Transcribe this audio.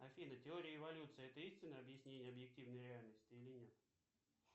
афина теория эволюции это истинное объяснение объективной реальности или нет